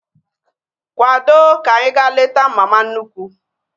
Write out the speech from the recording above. Kwado ka anyị ga-leta mama nnukwu!